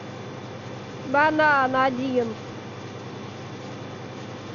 банан один